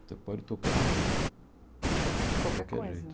Você pode tocar Qualquer coisa De qualquer jeito.